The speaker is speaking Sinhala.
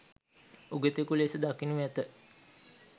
උගතෙකු ලෙස දකිනු ඇත.